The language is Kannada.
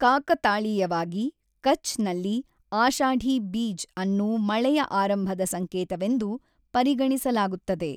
ಕಾಕತಾಳೀಯವಾಗಿ ಕಛ್ ನಲ್ಲಿ ಆಶಾಢಿ ಬೀಜ್ ಅನ್ನು ಮಳೆಯ ಆರಂಭದ ಸಂಕೇತವೆಂದು ಪರಿಗಣಿಸಲಾಗುತ್ತದೆ.